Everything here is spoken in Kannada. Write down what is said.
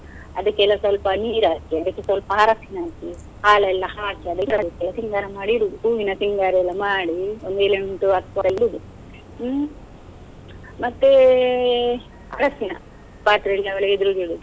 ಅದಿಕ್ಕೆಲ್ಲ ಸ್ವಲ್ಪ ನೀರ್ ಹಾಕಿ ಅದಿಕ್ಕೆ ಸ್ವಲ್ಪ ಅರಶಿನ ಹಾಕಿ, ಹಾಲೆಲ್ಲ ಹಾಕಿ ಸಿಂಗಾರ ಮಾಡಿ ಇಡುದು, ಹೂವಿನ ಸಿಂಗಾರ ಮಾಡಿ ಒಂದು ಏಳೆಂಟು ಹತ್ತು ಇಡುದು, ಹ್ಮ್. ಮತ್ತೆ ಅರಶಿನ, ಪಾತ್ರೆಯಲ್ಲಿ ಅವಳ ಎದುರಿಗೆ ಇಡುದು.